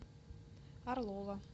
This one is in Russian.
орлова